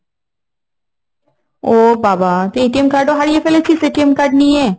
ও বাবা তুই card ও হারিয়ে ফেলেছিস, card নিয়ে?